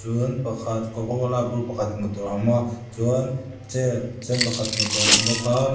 pakhat cocacola bur pakhat hmuh tur a awm a chuan chair sen pakhat hmuh tur a awm bawk a--